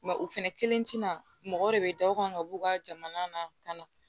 o fɛnɛ kelen ti na mɔgɔ de be da u kan ka b'u ka jamana na ka na